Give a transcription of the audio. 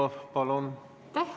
Aitäh!